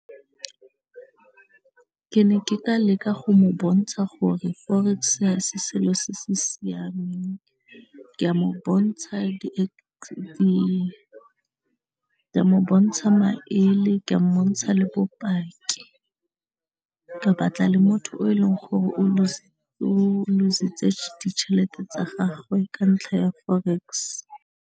Ke ne ke ka leka go mo bontsha gore forex-e ha selo se se siameng ke a mo bontsha ke mo bontsha maele, ke mmontsha le bopaki, ka batla le motho o e leng gore o loose-tse ditšhelete tsa gagwe ka ntlha ya forex.